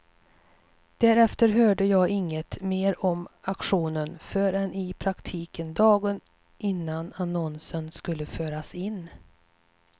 Därefter hörde jag inget mer om aktionen förrän i praktiken dagen innan annonsen skulle föras in.